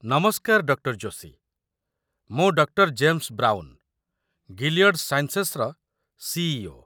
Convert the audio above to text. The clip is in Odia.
ନମସ୍କାର, ଡକ୍ଟର ଯୋଶୀ। ମୁଁ ଡକ୍ଟର ଜେମ୍ସ ବ୍ରାଉନ, ଗିଲିୟଡ଼ ସାଇନ୍‌ସେସ୍‌ର ସି.ଇ.ଓ.।